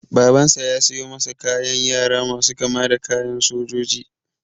Babansa ya siyo masa kayan yara masu kama da kayan sojoji.